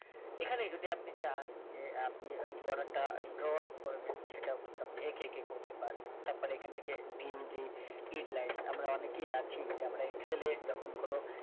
এখানে যদি আপনি চান যে আপনি border টা draw out করবেন সেটাও কিন্তু আপনি এঁকে এঁকে করতে পারবেন তারপর এখান থেকে ভীমজি add line আমরা অনেকেই আছি যে আমরা excel এ যখন কোন